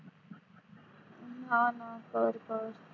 हम्म हा ना कर कर